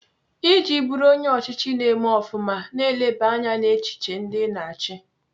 Iji bụrụ onye ọchịchị na-eme ofụma, na-eleba anya n'echiche ndị Ị na-achị.